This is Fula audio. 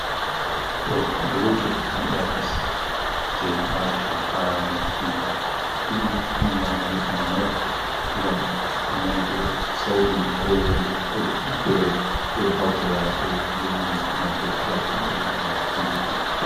Ɗo bulutut ɗum earpis, je watata ha noppi ɗiɗi nyamal e nanal ngam nanugo sautu ko wolde ko godɗum fere e hautira e lenngi matotiral, ɓe viyata bulutut.